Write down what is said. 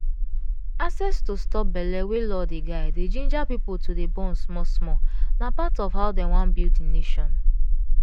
accesss to stop belle wey law dey guide dey ginger people to dey born small small na part of how dem wan build the nation.